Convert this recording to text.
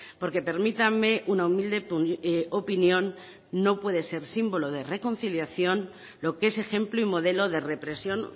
porque permítanme una humilde opinión no puede ser símbolo de reconciliación lo que es ejemplo y modelo de represión